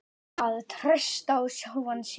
Að treysta á sjálfan sig.